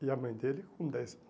E a mãe dele com dez